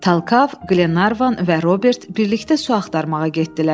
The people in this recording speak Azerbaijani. Talkav, Glenarvan və Robert birlikdə su axtarmağa getdilər.